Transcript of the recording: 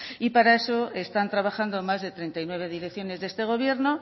y para eso están trabajando más de treinta y nueve direcciones de este gobierno